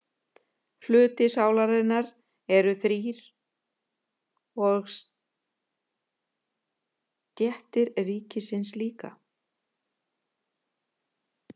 Hlutar sálarinnar eru þrír og stéttir ríkisins líka.